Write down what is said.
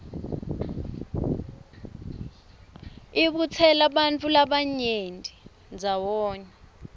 ibutsela bantfu labanyeni ndzawonye